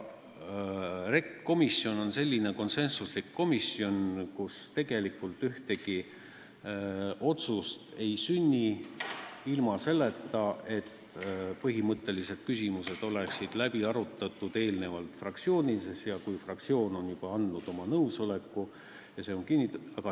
REKK on konsensuslik komisjon, kus tegelikult ükski otsus ei sünni ilma selleta, et põhimõttelised küsimused on eelnevalt fraktsioonides läbi arutatud, fraktsioonid on andnud oma nõusoleku ja see on kinnitatud.